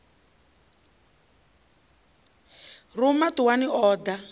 ruma ṱuwani a ḓa a